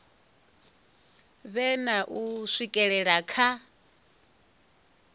vhe na u swikelela kha